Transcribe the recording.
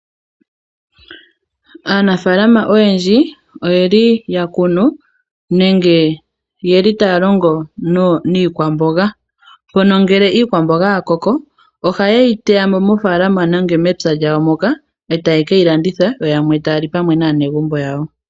Aanafaalama oyendji oye li ya kunu nenge oye li taya longo niikwamboga, mpono ngele iikwamboga ya koko ohaye yi teya mo mofaalama nenge mepya lyawo moka e taya ke yi landitha yo yamwe taya li pamwe naanegumbo yawo.